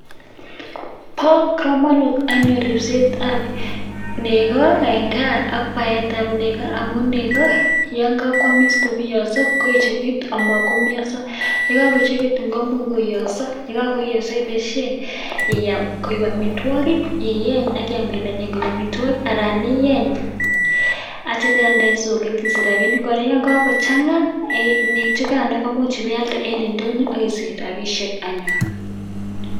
Ba kamanut anyun ribset ab nego en gaa ak Bart ab nego amun yangakwamis kobiyoso koyechekit amatkomiasa yekakoechekitun komuch koiyaso akobaishen iyam koik amitwagik iyeny Akiyam amitwagik anan iyeny akitya iyalde en soket akisivh rabinik kochanga chukan imuche iyalde en indonyo akisicha rabishek anyun